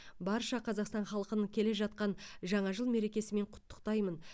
барша қазақстан халқын келе жатқан жаңа жыл мерекесімен құттықтаймын